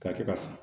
K'a kɛ ka san